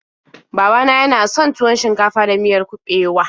Baba na yana son tuwon shinkafa da miyar kuɓewa.